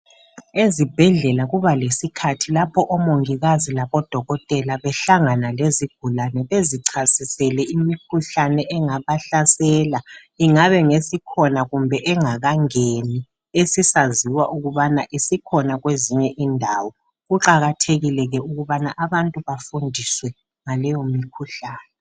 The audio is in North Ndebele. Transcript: Ezibhedlela kuba lesikhathi lapho omongikazi labo dokotela behlangana lezigulane bezichasisele imikhuhlane engabahlasela ingabe ngesikhona kumbe engakangeni. Esisaziwa ukubana isikhona kwezinye indawo .Kuqakathekile ke ukubana abantu bafundiswe ngaleyo mkhuhlane .